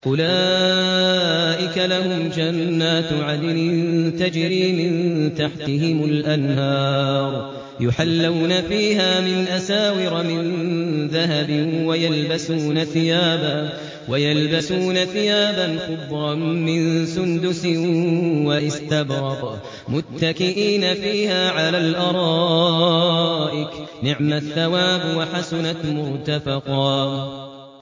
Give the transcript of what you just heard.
أُولَٰئِكَ لَهُمْ جَنَّاتُ عَدْنٍ تَجْرِي مِن تَحْتِهِمُ الْأَنْهَارُ يُحَلَّوْنَ فِيهَا مِنْ أَسَاوِرَ مِن ذَهَبٍ وَيَلْبَسُونَ ثِيَابًا خُضْرًا مِّن سُندُسٍ وَإِسْتَبْرَقٍ مُّتَّكِئِينَ فِيهَا عَلَى الْأَرَائِكِ ۚ نِعْمَ الثَّوَابُ وَحَسُنَتْ مُرْتَفَقًا